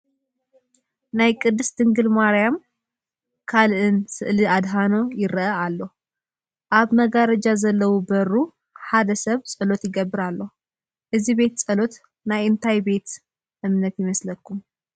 ናይ ቅድስት ድንግል ማርያምን ካልእን ስእለ ኣድህኖን ይርአ ኣሎ፡፡ ኣብ መጋረጃ ዘለዎ በሩ ሓደ ሰብ ፀሎት ይገብር ኣሎ፡፡ እዚ ቤት ፀሎት ናይ እንታይ ቤተ እምነት ይመስል?